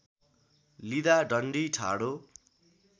लिँदा डन्डी ठाडो